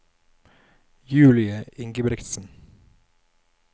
Julie Ingebrigtsen